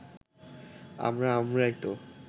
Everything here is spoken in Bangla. আমরা আমরাই তো